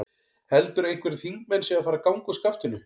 Heldurðu að einhverjir þingmenn séu að fara að ganga úr skaftinu?